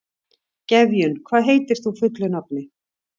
Gefjun, hvað heitir þú fullu nafni?